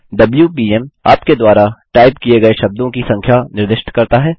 WPM - आपके द्वारा type किए गए शब्दों की संख्या निर्दिष्ट करता है